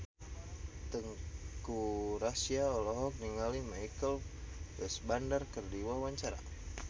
Teuku Rassya olohok ningali Michael Fassbender keur diwawancara